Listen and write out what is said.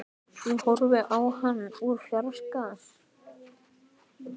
Ég horfði á hann úr fjarska.